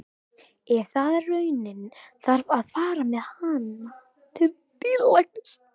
Ef það er raunin þarf að fara með hana til dýralæknis.